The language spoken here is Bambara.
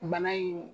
Bana in